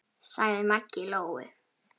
sagði Maggi Lóu.